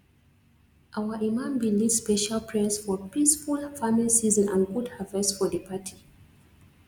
our imam bin lead special prayers for peaceful farmng season and good harvest for di party